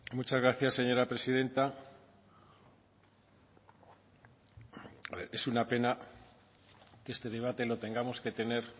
muchas gracias señora presidenta es una pena que este debate lo tengamos que tener